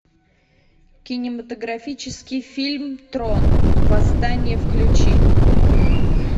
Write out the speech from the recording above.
кинематографический фильм трон восстание включи